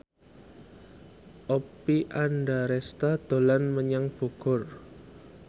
Oppie Andaresta dolan menyang Bogor